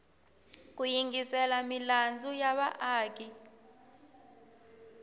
ku yingisela milandzu ya vaaki